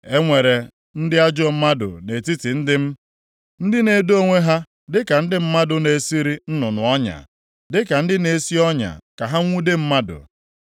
“E nwere ndị ajọ mmadụ nʼetiti ndị m, ndị na-edo onwe ha dịka ndị mmadụ na-esiri nnụnụ ọnya, dịka ndị na-esi ọnya ka ha nwude mmadụ.